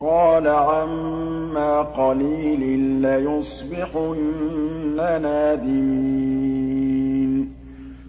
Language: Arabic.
قَالَ عَمَّا قَلِيلٍ لَّيُصْبِحُنَّ نَادِمِينَ